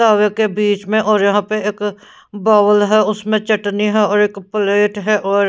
दावे के बीच में और यहां पे एक बावल है उसमें चटनी है और एक प्लेट है और--